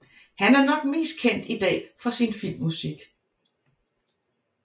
Han er nok mest kendt i dag for sin filmmusik